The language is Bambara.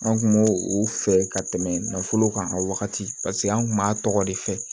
An kun m'o o fɛ ka tɛmɛ nafolo kan wagati an kun b'a tɔgɔ de fɛ